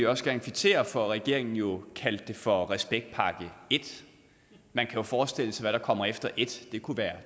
også gerne kvittere for at regeringen jo kaldte det for respektpakke i man kan jo forestille sig hvad der kommer efter i det kunne være